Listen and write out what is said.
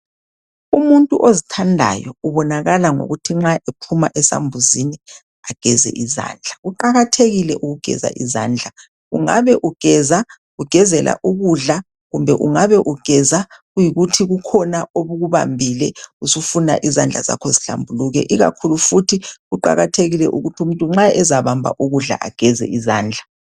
Umuntu ozithandayo ubonakala ngokuthi nxa ephuma esambuzini ageze izandla. Kuqakathekile ukugeza izandla, ungabe ugeza ugezela ukudla kumbe ungabe ugeza kuyikuthi kukhona obukubambile usufuna izandla zakho zihlambuluke ikakhulu futhi kuqakathekile ukuthi umuntu nxa ezabamba ukudla ageze izandla.